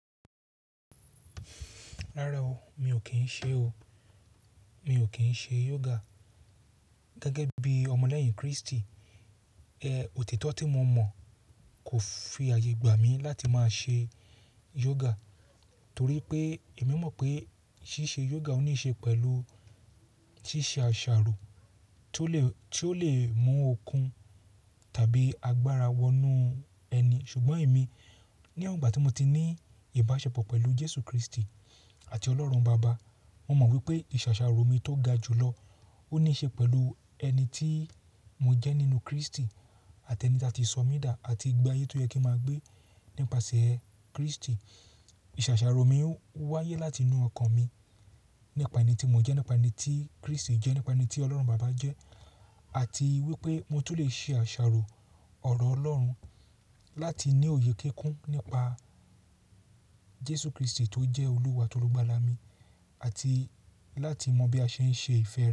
Rárá o, mi ò kín ṣe o. Mi ò kín ṣe yoga. Gẹ́gẹ́ bí ọmọ lẹ́yìn Kristi, ẹ òtítọ́ tí mo mọ̀ kò fi ààyè gbà mí láti máa ṣe yoga torí pé èmi mọ̀ pé ṣíṣe yoga ní í ṣe pẹ̀lú ṣíṣe àṣàrò tó lè, tó lè mú okun tàbí agbára wọnú ẹni. Ṣùgbọ́n èmi ní won ìgbà tí mo ti ní ìbáṣepọ̀ pẹ̀lú Jésù Kristi àti Ọlọ́run Baba, mo mọ̀ wípé ìṣàṣàrò mi tó ga jùlọ ó ní í ṣe pẹ̀lù ẹni tí mo jẹ́ nínú Kristi àti ẹni tí a ti sọ mí dà àti ìgbé ayé tó yẹ kí n máa gbé nípasẹ̀ Kristi. Ìṣàṣàrò mi o wáyé láti inú ọkàn mi nípa ẹni tí mo jẹ́, nípa ẹni tí Kristi jẹ́, nípa ẹni tí Ọlọ́run Baba jẹ́ àti wípé mo tún lè ṣe àṣàrò ọ̀rọ̀ Ọlọ́run láti ní òye kéékún nípa Jésù Kristi tó jẹ́ olúwa at'olugbala mi àti láti mọ bí a ṣe ń ṣe ìfẹ́